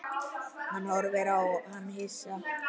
Hann horfði á hana hissa.